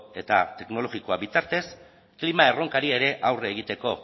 eta teknologikoa bitartez klima erronkari ere aurre egiteko